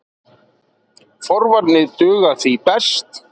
Forvarnir duga því best.